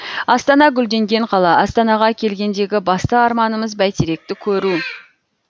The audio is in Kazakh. астана гүлденген қала астанаға келгендегі басты арманымыз бәйтеректі көру